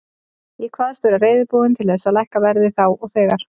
Ég kvaðst vera reiðubúinn til þess að lækka verðið þá þegar.